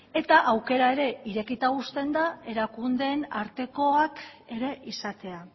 eta aukera ere irekita uzten da erakundeen artekoak ere izatea